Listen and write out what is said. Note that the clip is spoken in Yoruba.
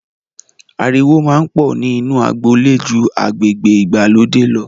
Ariwo máa ń pọ̀ ni inu agboolé ju agbègbè ìgbàlódé lọ.